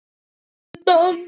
Venus undan